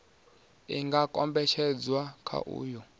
i nga kombetshedzwa kha uyo